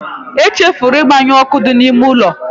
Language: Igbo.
I chefuru ịgbanyụ ọkụ dị n'ime ụlọ